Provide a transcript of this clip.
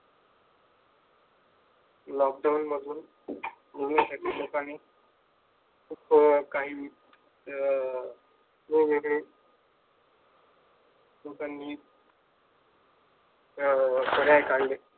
Lockdown पासून जगण्यासाठी लोकांनी काही अं वेगवेगळे लोकांनी अं पर्याय काढले.